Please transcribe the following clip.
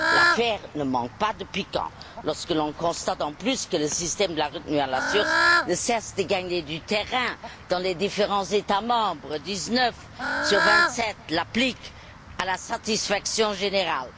L'affaire ne manque pas de piquant, lorsque l'on constate, en plus, que le système de la retenue à la source ne cesse de gagner du terrain dans les différents États membres dix neuf sur vingt sept l'appliquent à la satisfaction générale.